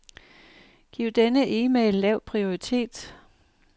Giv denne e-mail lav prioritet.